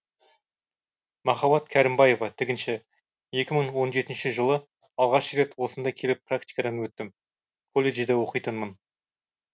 махаббат кәрімбаева тігінші екі мың он жетінші жылы алғаш рет осында келіп практикадан өттім колледжде оқитынмын